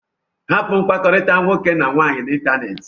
Hapụ mkpakọrịta nwoke na nwaanyị n'ịntanetị!